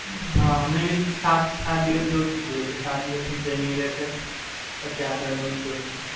હાં, મજા આવે છે.